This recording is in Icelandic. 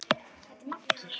Þetta er Maggi!